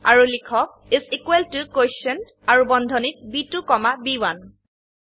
আৰু লিখক is equal ত কোটিয়েণ্ট আৰু বন্ধনীত ব2 কমা ব1